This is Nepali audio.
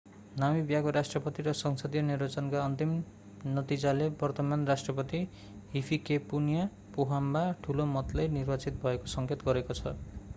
नामिबियाका राष्ट्रपति र संसदीय निर्वाचनका अन्तिम नतिजाले वर्तमान राष्ट्रपति hifikepunye pohamba ठूलो मतले निर्वाचित भएको सङ्केत गरेको छ